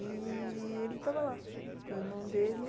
E ele estava lá com o irmão dele.